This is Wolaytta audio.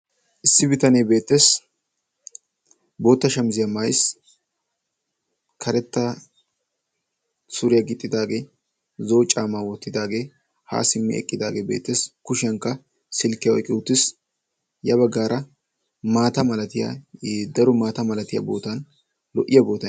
issi bitanee beettes bootta shamiziyaa maysi karetta suriyaa gixxidaagee zoo caamaa woottidaagee haa simmi eqqidaagee beettes kushiyankka silkkiyawu iyqqi uttis ya baggaara maata malatiyaa i daro maata malatiyaa bootan lo'iya boa